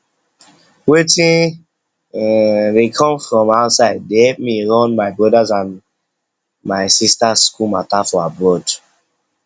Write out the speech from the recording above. wetin dey come from outside dey help me run my brothers and my brothers and sisters school matter for abroad